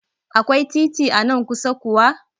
Akwai titi anan kusa kuwa?